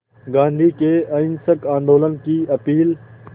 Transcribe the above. गांधी के अहिंसक आंदोलन की अपील